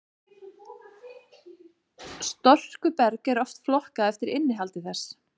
storkuberg er oft flokkað eftir innihaldi þess